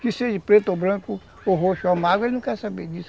Que seja preto ou branco, ou roxo ou amargo, ele não quer saber disso.